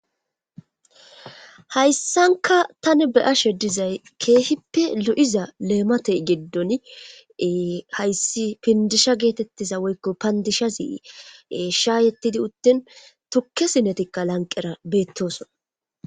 Hayssanka tani be ashe dizay keehippe lu7iza leematey geddon hayssi pindisha geetettiza woykko pandishazi sha yettidi uttin tukke sinetikka lanqera beettosona.